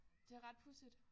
Det er ret pudsigt